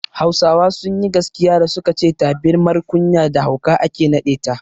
Hausawa sunyi gaskiya da suka ce tabirmar kunya da hauka ake naɗe ta